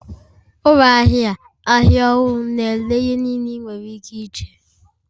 Ụlọ ahịa ahịa ọhụrụ na-ere ihe niile ị nwere ike iche